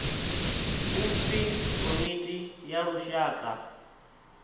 u pfi komiti ya lushaka